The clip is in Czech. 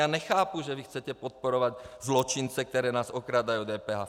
Já nechápu, že vy chcete podporovat zločince, kteří nás okrádají o DPH.